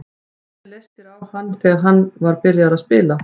Hvernig leist þér á hann þegar hann var byrjaður að spila?